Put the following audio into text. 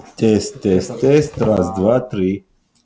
тест тест тест раз два три